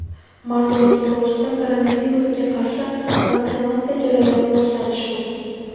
mart oyining boshida koronavirusga qarshi vaksinatsiya jarayoni boshlanishi mumkin.